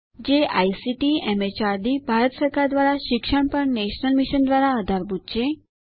જે ICT MHRD Bharat સરકાર દ્વારા શિક્ષણ પર નેશનલ મિશન દ્વારા આધારભૂત છે